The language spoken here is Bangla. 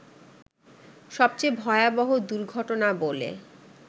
সবচেয়ে ভয়াবহ দুর্ঘটনা বলে